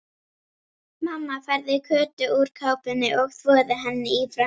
Mamma færði Kötu úr kápunni og þvoði henni í framan.